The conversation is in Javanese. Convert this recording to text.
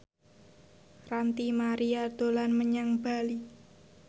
Ranty Maria dolan menyang Bali